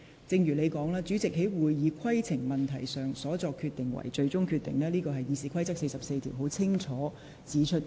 正如你所說，主席就會議規程所作決定為最終決定，這在《議事規則》第44條已清楚訂明。